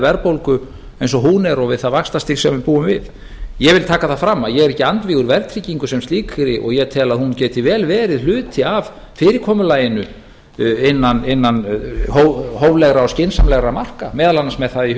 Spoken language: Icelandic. verðbólgu eins og hún er og við það vaxtastig sem við búum við ég vil taka það fram að ég er ekki andvígur verðtryggingu sem slíkri og ég tel að hún geti vel verið hluti af fyrirkomulaginu innan hóflegra og skynsamlegra marka meðal annars með það í